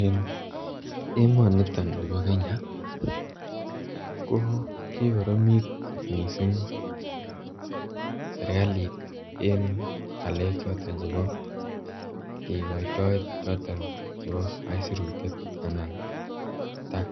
En emonito nibo Kenya ko kikoromit kot mising serkalit en ngalek choton chebo kigoito nebo aisurut anan tax